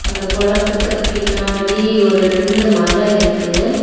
இந்த கொளத்துக்கு பின்னாடி ஒரு ரெண்டு மலை இருக்கு.